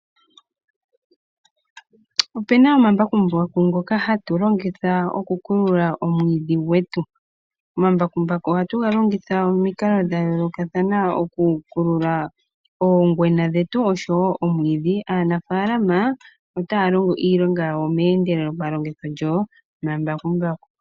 Ope na omambakumbaku ngoka hatu longitha okukulula omwiidhi gwetu. Omambakumbaku ohatu ga longitha omikalo dha yolokathana okukulula oongwena dhetu noshowo omwiidhi. Aanafalama otaya longo iilonga yawo meendelelo palongitho lyomambakumbaku.